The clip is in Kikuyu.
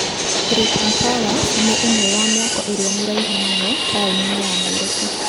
Britam Tower nĩ ĩmwe ya mĩako ĩrĩa mĩraihu mũno taũni-inĩ ya Nairobi.